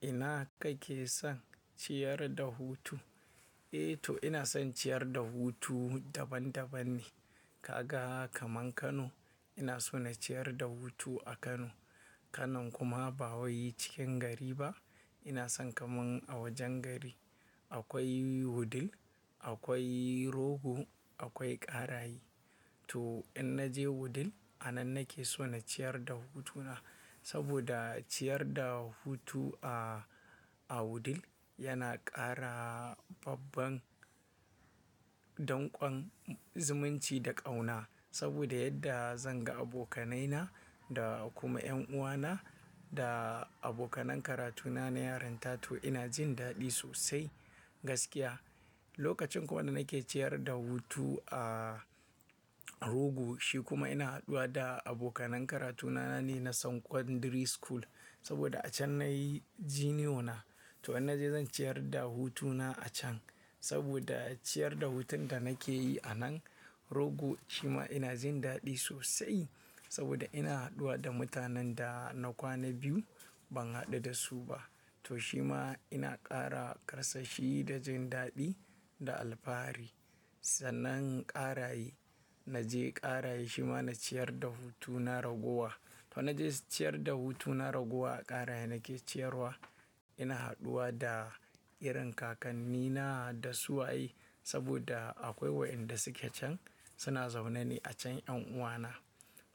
Ina kake son ciyar da hutu? Eh to ina son ciyar da hutu daban daban ne. Kaga kaman Kano, ina so na ciyar da hutu a Kano. Kano kuma ba wai cikin gari ba. Ina son kaman a wajen gari. Akwai Wudil, akwai Rogo, akwai Karaye. To in na je Wudil, a nan nake so na ciyar da hutuna saboda ciyar da hutu a, a Wudil yana ƙara babban danƙon zumunci da ƙauna. Saboda yadda zan ga abokanaina da kuma ƴanuwana da abokanan karatuna na yarin ta. To ina jin daɗi sosai gaskiya. Lokacin kuma da nake ciyar da hutu a Rogo, shi kuma ina haɗuwa da abokanan karatuna na ne na sankon ɗiri school. Saboda a can nayi giniyo na. To in naje zan ciyar da hutuna a can saboda ciyar da hutun da nake yi a nan Rogo shi ma ina jin daɗi sosai. Saboda ina haɗuwa da mutanen da na kwana biyu ban haɗu da su ba. To shi ma ina ƙara ƙarsashi da jin daɗi da alfahari. Sannan Karaye, na je Karaye shi ma na ciyar da hutuna ragowa. To in naje ciyar da hutuna ragowa a Karaye nake ciyarwa ina haɗuwa da irin kakannina da suwaye. Saboda akwai waɗanda suke can suna zaune ne a can ƴanuwana.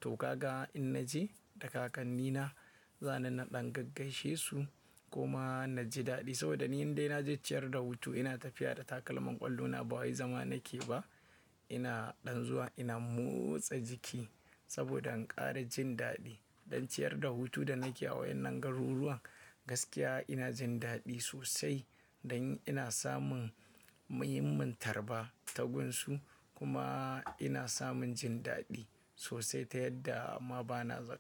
To kaga in naje da kakannina, za ni na ɗan gaggaishe su kuma naji daɗi. Saboda ni inda ina je ciyar da hutu ina tafiya da takalman ƙwallona ba wai zama nake ba. Ina ɗan zuwa ina motsa jiki saboda in ƙara jin daɗi. Dan ciyar da hutu da nake a wayen nan garuruwan gaskiya ina jin daɗi sosai dan ina samun muhimmin tarba ta gunsu kuma ina samun jin daɗi sosai ta yadda amma ba na zaga.